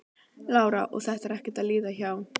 Lára: Og þetta er ekkert að líða hjá?